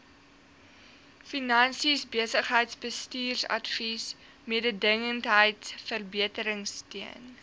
finansies besigheidsbestuursadvies mededingendheidsverbeteringsteun